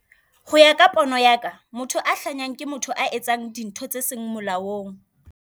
Ho ya ka pono ya ka motho a hlahang ke motho a etsang dintho tse seng molaong.